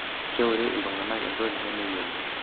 'Keure ltunganak entoki nemeyiolo.''